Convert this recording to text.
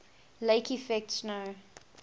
lake effect snow